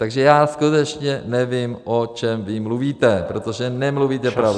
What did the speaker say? Takže já skutečně nevím, o čem vy mluvíte, protože nemluvíte pravdu.